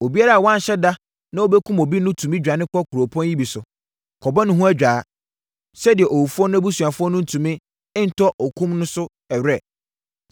Obiara a wanhyɛ da na ɔbɛkum obi no tumi dwane kɔ nkuropɔn yi bi so, kɔbɔ ne ho adwaa, sɛdeɛ owufoɔ no abusuafoɔ no ntumi ntɔ okum no so were.